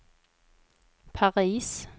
Paris